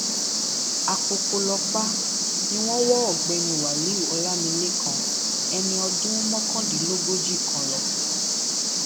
a pọpọlọpà ni wọn wọ ọgbẹni wálíù ọlámilẹkan ẹni ọdún mọkàndínlógójì kan lọ